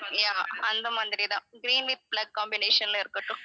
yeah அந்த மாதிரி தான் green with black combination ல இருக்கட்டும்